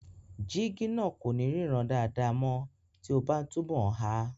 Jígí náà kò ní ríran dáadáa mọ́ tí o bá n túnbọ̀ há